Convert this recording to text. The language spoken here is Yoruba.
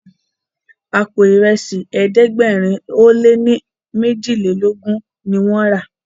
àpò Ìrẹsí ẹ̀ẹ́dẹ̀gbẹ̀rin o lẹ ní mejilelogun ní wón rà.